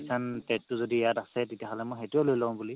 যদি ইয়াত আছে মই সেইটোয়ে লঈ লও বুলি